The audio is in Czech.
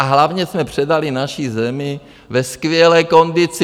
A hlavně jsme předali naši zemi ve skvělé kondici.